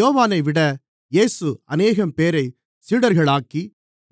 யோவானைவிட இயேசு அநேகம்பேரைச் சீடர்களாக்கி